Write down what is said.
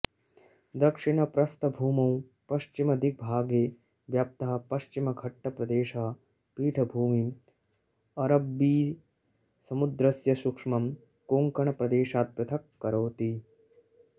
दक्षिणप्रस्थभूमौ पश्चिमदिग्भागे व्याप्तः पश्चिमघट्टप्रदेशः पीठभूमिम् अरब्बिसमुद्रस्य सूक्ष्मम् कोङ्कण प्रदेशात् पृथक करोति